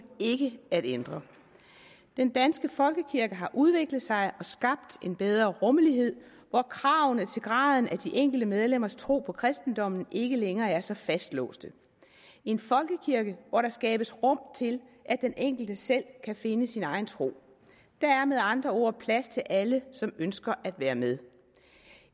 ikke at ændre den danske folkekirke har udviklet sig og skabt en bedre rummelighed hvor kravene til graden af de enkelte medlemmers tro på kristendommen ikke længere er så fastlåste en folkekirke hvor der skabes rum til at den enkelte selv kan finde sin egen tro der er med andre ord plads til alle som ønsker at være med